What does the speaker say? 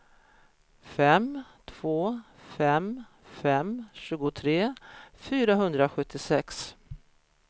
fem två fem fem tjugotre fyrahundrasjuttiosex